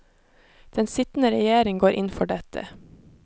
Den sittende regjering går inn for dette.